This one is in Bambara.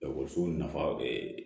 ekɔlisow nafa